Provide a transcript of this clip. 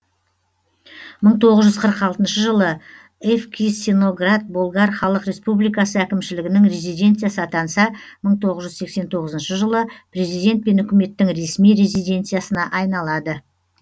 мың тоғыз жүз қырық алтыншы жылы евкисиноград болгар халық республикасы әкімшілігінің резиденциясы атанса мың тоғыз жүз сексен тоғызыншы жылы президент пен үкіметтің ресми резиденциясына айналады